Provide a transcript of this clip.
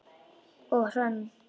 Og Hrönn?